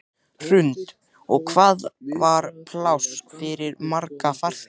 Hrund: Og hvað var pláss fyrir marga farþega?